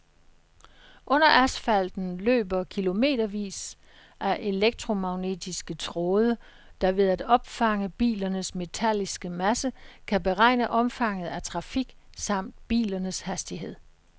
Under asfalten løber kilometervis af elektromagnetiske tråde, der ved at opfange bilernes metalliske masse kan beregne omfanget af trafik samt bilernes hastighed.